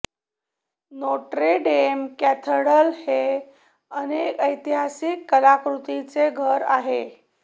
Notre Dame cathedral हे अनेक ऐतिहासिक कलाकृतींचे घर आहे